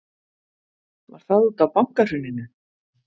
Var það útaf bankahruninu?